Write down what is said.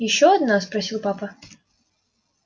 ещё одна спросил папа